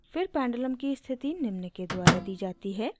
फिर पेंडुलम की स्थिति निम्न के द्वारा दी जाती है: